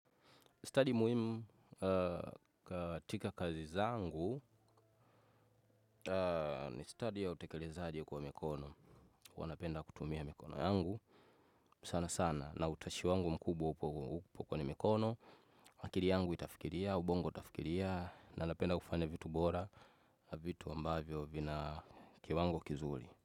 Study muhimu katika kazi zangu ni study ya utekelezaji kwa mikono. Huwa napenda kutumia mikono yangu sana sana na utashi wangu mkubwa upo kwenye mikono. Akili yangu itafikiria, ubongo utafikiria na napenda kufanya vitu bora, vitu ambavyo vina kiwango kizuri.